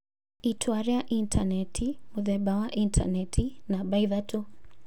itua rĩa intanenti ( mũthemba wa intanenti) namba ithatũ.